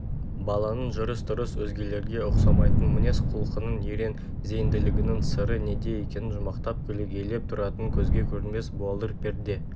баланың жүріс-тұрысының өзгелерге ұқсамайтын мінез-құлқынын ерен зейінділігінің сыры неде екенін жұмбақтап көлегейлеп тұратын көзге көрінбес буалдыр перде